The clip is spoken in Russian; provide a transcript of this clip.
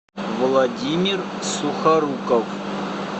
владимир сухоруков